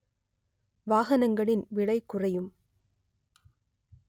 வாகனங்களின் விலைகுறையும்